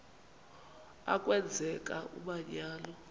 a kwenzeka umanyano